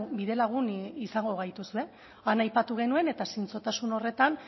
bidelagun izango gaituzue han aipatu genuen eta zintzotasun horretan